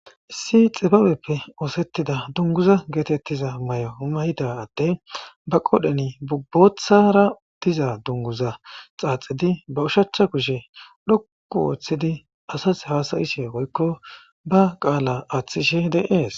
issi xibabeppe oosettida dunguza geetettiza may7o mayida atte ba qodheni bubbothara diza dunguza xaaxidi ba ushachcha kushe dhokku wooththidi asas hasayishe woykko ba qaala aaththishe deees